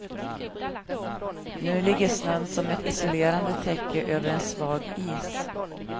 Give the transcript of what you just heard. Nu ligger snön som ett isolerande täcke över en svag is.